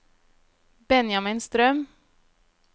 Benjamin Strøm